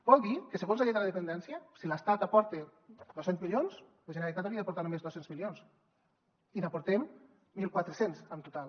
vol dir que segons la llei de la dependència si l’estat hi aporta dos cents milions la generalitat hi hauria d’aportar només dos cents milions i hi aportem mil quatre cents en total